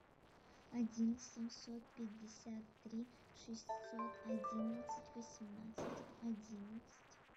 один семьсот пятьдесят три шестьсот одиннадцать восемнадцать одиннадцать